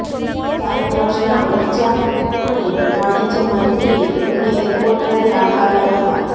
સાયપ્રસના ઊર્જા અને વાણિજ્ય મંત્રીએ તેમને એરપોર્ટ ખાતે આવકાર્યા હતા